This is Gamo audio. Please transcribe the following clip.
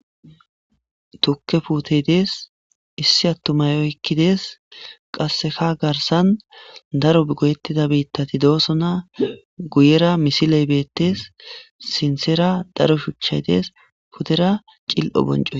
tukke putey dees issi attumay oykkidees qasseka garsan daro goyettida biittati doosona guyera misiley beettes sinthera daro shuchay dees putera cil7o bonco